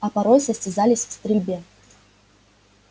а порой состязались в стрельбе